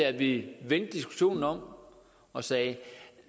at vi vendte diskussionen om og sagde